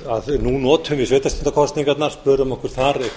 að nú notum við sveitarstjórnarkosningarnar spörum okkur þar tvö hundruð til